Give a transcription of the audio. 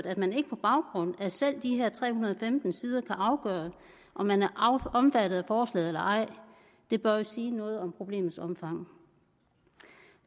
at man ikke på baggrund af selv de her tre hundrede og femten sider kan afgøre om man er omfattet af forslaget eller ej bør jo sige noget om problemets omfang